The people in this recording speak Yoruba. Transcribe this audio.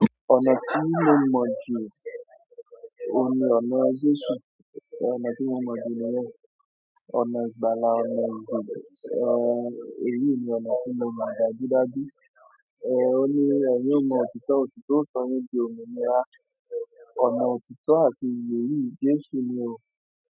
Ọ̀nà tí mo mọ̀ jù oun ni ọ̀nà Jésù. Ọ̀nà tí mo mọ̀ jù nìyẹn. Ọ̀nà ìgbàla ọ̀nà iye, èyí ni ọ̀nà tí mo mọ̀ dájudáju. Ó ní ẹ̀yin ọ̀ mo òtítọ́, òtítọ́ o sọ yín di òmìnira. Ọ̀nà òtítọ́ àti ìyé yìí, Jésù ni o.